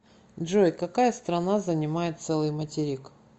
джой какая страна занимает целый материк